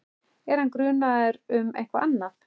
Er hann grunaður um eitthvað annað?